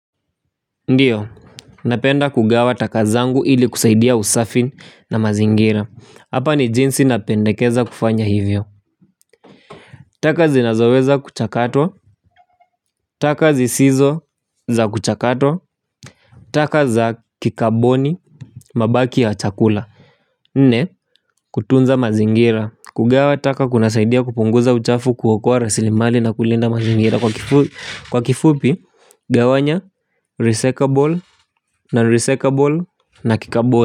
Ndiyo, napenda kugawa taka zangu ili kusaidia usafi na mazingira. Hapa ni jinsi napendekeza kufanya hivyo. Taka zinazoweza kuchakatwa, taka zisizo za kuchakatwa taka za kikaboni, mabaki ya chakula nne, kutunza mazingira. Kugawa taka kunasaidia kupunguza uchafu, kuokoa rasilimali na kulinda mazingira. Kwa kifupi, gawanya recyclable na recyclable na kikaboni.